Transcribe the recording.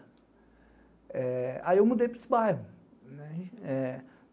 Aí eu mudei para esse bairro.